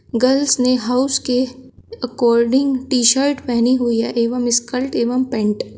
girls ने house के according T shirt पहनी हुई है एवं स्कर्ट एवं पैंट --